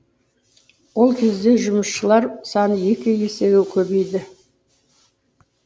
ол кезде жұмысшылар саны екі есеге көбейеді